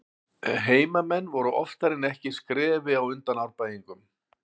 Heimamenn voru oftar en ekki skrefi á undan Árbæingum.